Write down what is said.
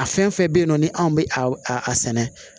A fɛn fɛn bɛ yen nɔ ni anw bɛ a sɛnɛ